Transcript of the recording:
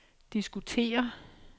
diskutere